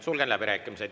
Sulgen läbirääkimised.